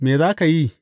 Me za ka yi?